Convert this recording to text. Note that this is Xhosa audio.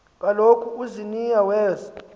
kaloku uziniya weza